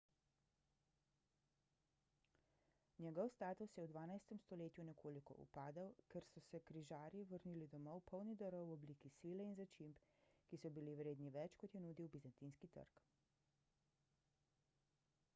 njegov status je v dvanajstem stoletju nekoliko upadel ker so se križarji vrnili domov polni darov v obliki svile in začimb ki so bili vredni več kot je nudil bizantinski trg